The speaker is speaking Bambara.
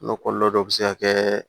kɔlɔlɔ dɔ be se ka kɛ